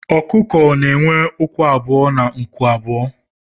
Ọkụkọ na enwe ụkwụ abụọ na nku abụọ